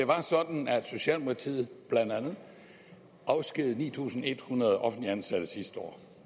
var sådan at socialdemokratiet blandt andet afskedigede ni tusind en hundrede offentligt ansatte sidste år